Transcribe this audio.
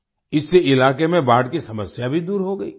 इससे इलाके में बाढ़ की समस्या भी दूर हो गई